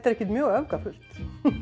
ekkert mjög öfgafullt